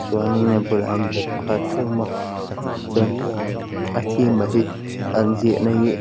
chuanin a bulah hian bag pakhat theuh a awm a chuan a theme a hi an ziahna hi--